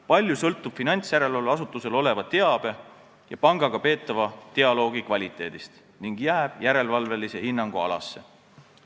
Palju sõltub finantsjärelevalveasutusel oleva teabe ja pangaga peetava dialoogi kvaliteedist ning jääb järelevalvelise hinnangu alasse.